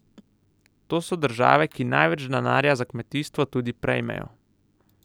To so države, ki največ denarja za kmetijstvo tudi prejmejo.